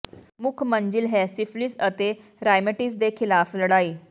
ਮੁੱਖ ਮੰਜ਼ਿਲ ਹੈ ਸਿਫਿਲਿਸ ਅਤੇ ਰਾਇਮਿਟਿਜ਼ ਦੇ ਖਿਲਾਫ ਲੜਾਈ